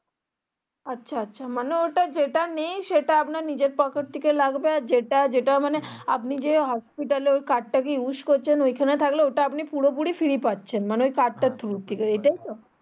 আচ্ছা আচ্ছা মানে ইটা যেটা নেই সেটা আপনার নিজের পকেট থেকে লাগবে আর যেটা যেটা মানে আপনি যে হাসপাতাল এ card টাকে use করছেন ওখানে থাকলে ওটা আপনি পুরোপুরি free পাচ্ছেন মানে ওই card tar through থেকে এটাই তো